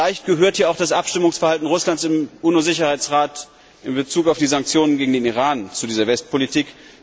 Vielleicht gehört das Abstimmungsverhalten Russlands im UNO Sicherheitsrat in Bezug auf die Sanktionen gegen den Iran zu dieser Westpolitik.